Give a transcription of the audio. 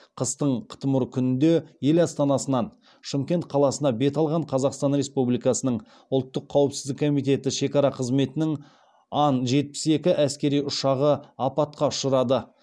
қыстың қытымыр күнінде ел астанасынан шымкент қаласына бет алған қазақстан республикасының ұлттық қауіпсіздік комитеті шекара қызметінің ан жетпіс екі әскери ұшағы апатқа ұшырады